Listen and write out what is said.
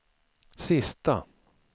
sista